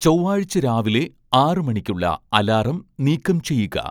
ചൊവ്വാഴ്ച രാവിലെ ആറ് മണിക്കുള്ള അലാറം നീക്കം ചെയ്യുക